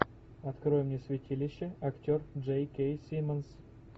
открой мне святилище актер джей кей симмонс